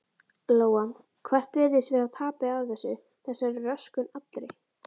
Lóa: Hvert virðist vera tapið af þessu, þessari röskun allri?